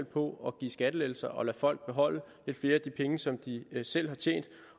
på at give skattelettelser og at lade folk beholde flere af de penge som de selv har tjent